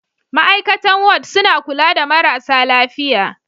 Ma'aikatan Ward suna kula da marasa lafiya.